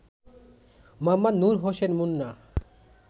Md. Nur Hossain Munna